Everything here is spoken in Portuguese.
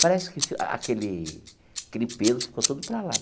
Parece que aquele aquele peso ficou tudo para lá.